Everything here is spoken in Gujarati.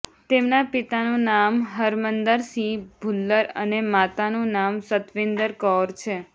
તેમના પિતાનું નામ હરમંદર સિંહ ભુલ્લર અને માતાનું નામ સતવિંદર કૌર છે